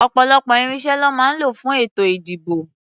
Ọ̀pọ̀lọpọ̀ irinṣẹ́ lọ́ máa ń lò fún ètò-ìdìbò.